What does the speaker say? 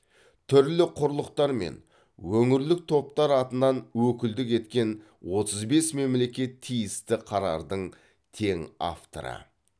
түрлі құрлықтар мен өңірлік топтар атынан өкілдік еткен отыз бес мемлекет тиісті қарардың тең авторы